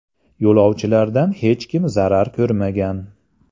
Yo‘lovchilardan hech kim zarar ko‘rmagan.